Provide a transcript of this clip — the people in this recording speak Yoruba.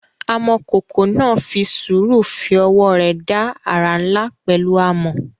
Amọ̀kòkò náà fi sùúrù fi ọwọ́ rẹ̀ dá àrà ńlá pẹ̀lú amọ̀.